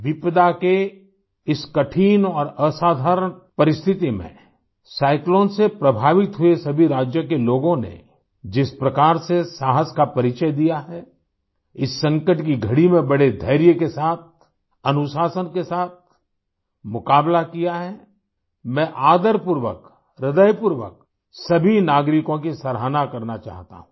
विपदा के इस कठिन और असाधारण परिस्थिति में साइक्लोन से प्रभावित हुए सभी राज्यों के लोगों ने जिस प्रकार से साहस का परिचय दिया हैइस संकट की घड़ी में बड़े धैर्य के साथ अनुशासन के साथ मुक़ाबला किया है मैं आदरपूर्वक हृदयपूर्वक सभी नागरिकों की सराहना करना चाहता हूँ